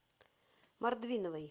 мордвиновой